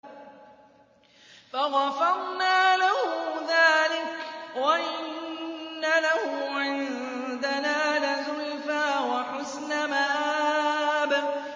فَغَفَرْنَا لَهُ ذَٰلِكَ ۖ وَإِنَّ لَهُ عِندَنَا لَزُلْفَىٰ وَحُسْنَ مَآبٍ